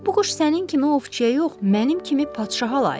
Bu quş sənin kimi ovçuya yox, mənim kimi padşaha layiqdir.